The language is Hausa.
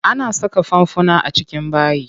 Ana saka fanfuna a cikin bayi.